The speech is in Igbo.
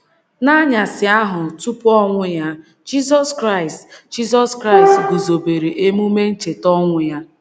N’anyasị ahụ tupu ọnwụ ya, Jizọs Kraịst, Jizọs Kraịst guzobere emume Ncheta ọnwụ ya.